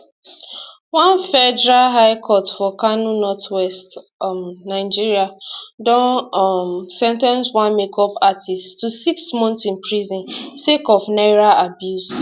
one federal high court for kano northwest um nigeria don um sen ten ce one makeup artist to six months in prison sake of naira abuse